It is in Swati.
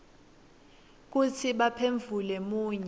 kutsi baphendvule munye